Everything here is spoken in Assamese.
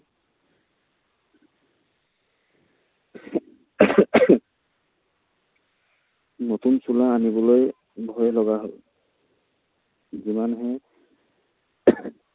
নতুন চোলা আনিবলৈ ভয় লগা হ'ল। যিমানহে